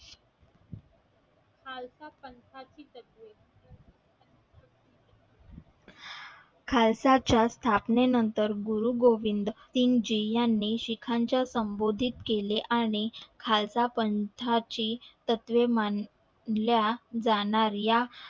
खालसा च्या स्थापने नंतर गुरुगोविंद किंची यांनी शिखाच्या संबोधित केले आणि खालसा पंथाची तत्वे मानल्या जाणार या